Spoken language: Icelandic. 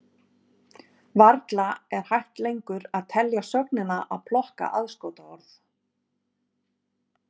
Varla er hægt lengur að telja sögnina að plokka aðskotaorð.